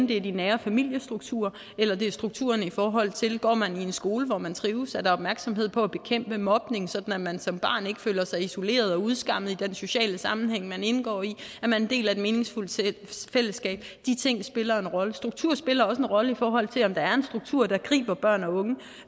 det er de nære familiestrukturer eller det er strukturerne i forhold til skolen går man i en skole hvor man trives er der opmærksomhed på at bekæmpe mobning sådan at man som barn ikke føler sig isoleret og udskammet i den sociale sammenhæng men indgår i er man en del af et meningsfuldt fællesskab de ting spiller en rolle struktur spiller også en rolle i forhold til om der er en struktur der griber børn og unge